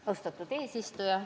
Austatud eesistuja!